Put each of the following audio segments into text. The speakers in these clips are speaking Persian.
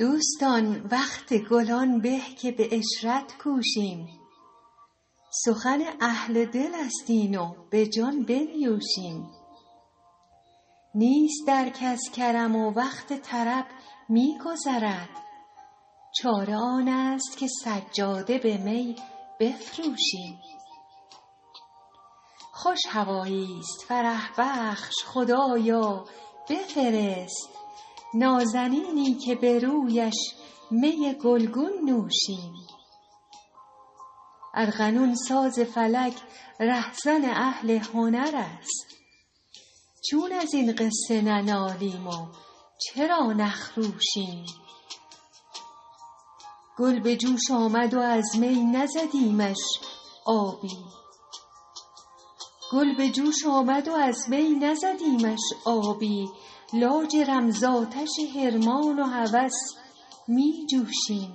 دوستان وقت گل آن به که به عشرت کوشیم سخن اهل دل است این و به جان بنیوشیم نیست در کس کرم و وقت طرب می گذرد چاره آن است که سجاده به می بفروشیم خوش هوایی ست فرح بخش خدایا بفرست نازنینی که به رویش می گل گون نوشیم ارغنون ساز فلک ره زن اهل هنر است چون از این غصه ننالیم و چرا نخروشیم گل به جوش آمد و از می نزدیمش آبی لاجرم زآتش حرمان و هوس می جوشیم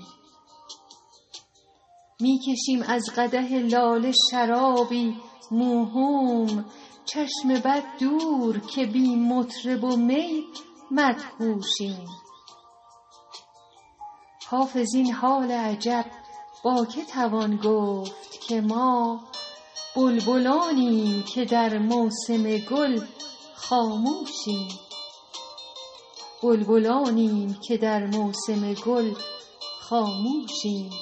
می کشیم از قدح لاله شرابی موهوم چشم بد دور که بی مطرب و می مدهوشیم حافظ این حال عجب با که توان گفت که ما بلبلانیم که در موسم گل خاموشیم